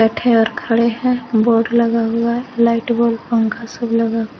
खड़े हैं बोर्ड लगा हुआ है लाइट बल्ब पंखा सब लगा--